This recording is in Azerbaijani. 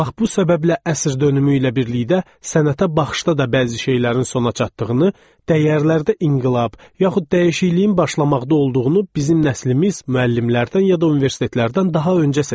Bax bu səbəblə əsr dönümü ilə birlikdə sənətə baxışda da bəzi şeylərin sona çatdığını, dəyərlərdə inqilab yaxud dəyişikliyin başlamaqda olduğunu bizim nəslimiz müəllimlərdən ya da universitetlərdən daha öncə sezirdi.